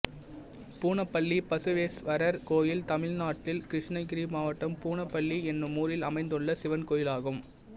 பூனப்பள்ளி பசுவேஸ்வரர் கோயில் தமிழ்நாட்டில் கிருஷ்ணகிரி மாவட்டம் பூனப்பள்ளி என்னும் ஊரில் அமைந்துள்ள சிவன் கோயிலாகும்